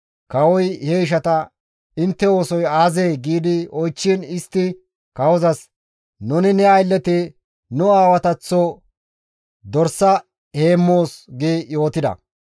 Kawoy he ishata, «Intte oosoy aazee?» gi oychchiin istti kawozas, «Nuni ne aylleti nu aawataththo dorsa heemmoos» gi yootida.